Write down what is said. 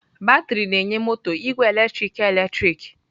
Batrị na-enye moto igwe eletrik eletrik.